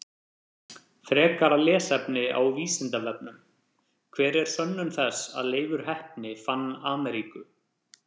Frekara lesefni á Vísindavefnum: Hver er sönnun þess að Leifur heppni fann Ameríku?